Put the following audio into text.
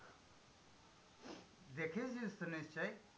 দেখেওছিস তো নিশ্চয়ই?